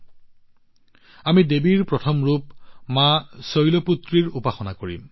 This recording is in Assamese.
ইয়াত আমি দেৱীৰ প্ৰথম ৰূপ মা শৈলপুত্ৰীৰ উপাসনা কৰিম